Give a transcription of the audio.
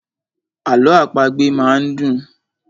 Àlọ àpagbè máa ń dùn.